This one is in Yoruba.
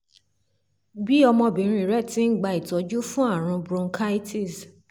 bí ọmọbìnrin rẹ ti ń gba ìtọ́jú fún ààrùn bronchitis